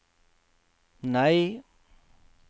nei